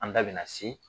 An da bina se